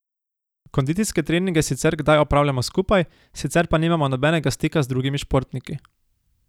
Kondicijske treninge sicer kdaj opravljamo skupaj, sicer pa nimamo nobenega stika z drugimi športniki.